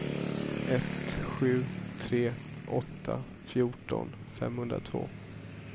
ett sju tre åtta fjorton femhundratvå